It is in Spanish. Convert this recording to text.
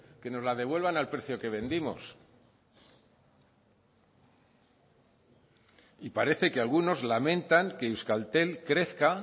que nos la devuelvan al precio que vendimos y parece que algunos lamentan que euskaltel crezca